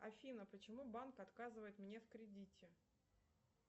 афина почему банк отказывает мне в кредите